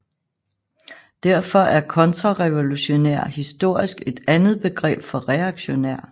Derfor er kontrarevolutionær historisk et andet begreb for reaktionær